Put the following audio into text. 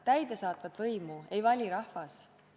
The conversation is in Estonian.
Täidesaatvat võimu ei vali rahvas.